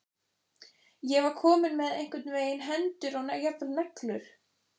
Ég var komin með einhvern veginn hendur og jafnvel neglur.